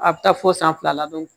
A bɛ taa fo san fila la